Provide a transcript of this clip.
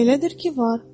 Elədir ki, var.